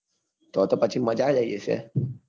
તો તો પછી મજા જ આઈ જશે.